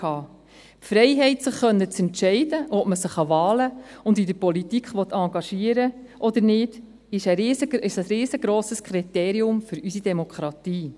Die Freiheit, sich entscheiden zu können, ob man sich an Wahlen und in der Politik engagieren will oder nicht, ist ein riesengrosses Kriterium für unsere Demokratie.